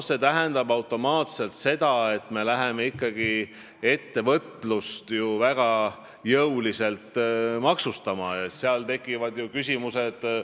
See tähendab automaatselt seda, et me läheme väga jõuliselt ettevõtlust maksustama ja tekivad ju küsimused.